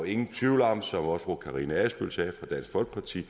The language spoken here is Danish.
ingen tvivl om som også fru karina adsbøl fra dansk folkeparti